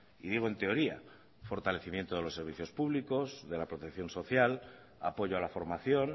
y digo en teoría fortalecimiento de los servicios públicos de la protección social apoyo a la formación